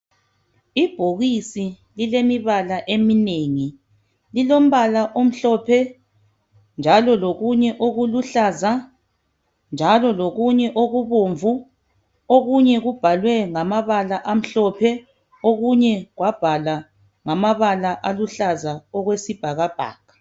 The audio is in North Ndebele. ibhokisi lilombala ominengi lilombala omhlophe njalo lokunye okuluhlaza njalo lokunye okubomvu kubhalwe ngamabala okumhlophe okunye kwabhalwa ngamaba aluhlaza okwesibhakabhaka